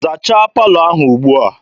Zachaa palọ ahụ ugbua!